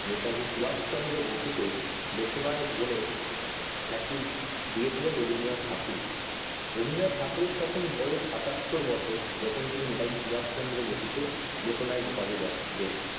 নেতাজি সুভাষ চন্দ্র বসুকে দেশ নায়ক বলে খ্যাতি দিয়েছিলেন রবীন্দ্রনাথ ঠাকুরই রবীন্দ্রনাথ ঠাকুর এর বয়স তখন সাতারতর বছর যখন তিনি নেতাজি সুভাষ চান্দ্র বসুকে দেশ নায়ক উপাধি দেন দিন